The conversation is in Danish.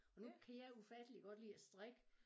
Og nu kan jeg ufattelig godt lide at strikke